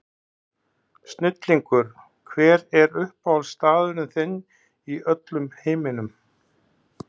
Snillingur Hver er uppáhaldsstaðurinn þinn í öllum heiminum?